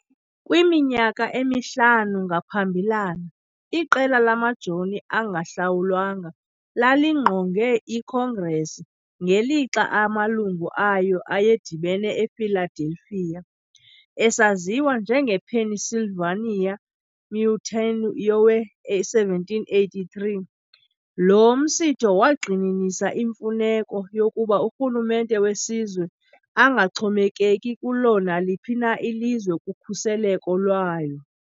Kwiminyaka emihlanu ngaphambilana, iqela lamajoni angahlawulwanga lalingqonge iCongress ngelixa amalungu ayo ayedibene ePhiladelphia. Esaziwa njengePennsylvania Mutiny yowe-1783, lo msitho wagxininisa imfuneko yokuba urhulumente wesizwe angaxhomekeki kulo naliphi na ilizwe kukhuseleko lwayo.